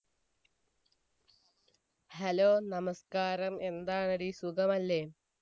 hello നമസ്ക്കാരം എന്താണെടി സുഖമല്ലേ